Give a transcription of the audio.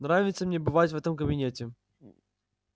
нравится мне бывать в этом кабинете